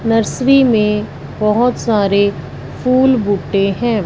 Nursery में बहोत सारे फूल बूटे हैं।